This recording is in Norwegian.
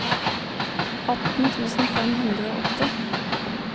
atten tusen fem hundre og åtte